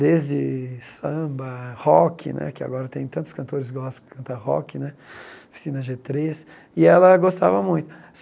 desde samba, rock né, que agora tem tantos cantores gospel que canta rock né, oficina Gê três, e ela gostava muito.